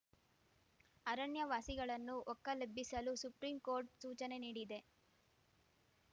ಅರಣ್ಯ ವಾಸಿಗಳನ್ನು ಒಕ್ಕಲೆಬ್ಬಿಸಲು ಸುಪ್ರೀಂ ಕೋರ್ಟ್‌ ಸೂಚನೆ ನೀಡಿದೆ